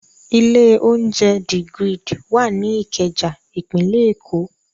Ilé-oúnjẹ The Grid wà ní Ìkẹjà, ìpínlẹ̀ Èkó.